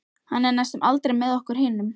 Hann er næstum aldrei með okkur hinum.